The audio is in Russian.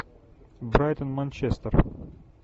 брайтон манчестер